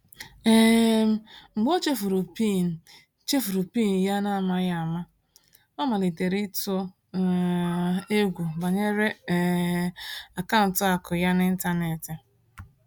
um Mgbe ọ chefuru PIN chefuru PIN ya n’amaghị ama, ọ malitere ịtụ um egwu banyere um akaụntụ akụ ya n’ịntanetị.